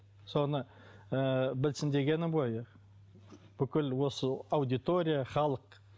соны ы білсін дегенім ғой бүкіл осы аудитория халық